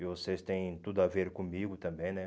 viu E vocês têm tudo a ver comigo também, né?